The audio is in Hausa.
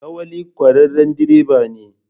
Lawali kwararren direba ne.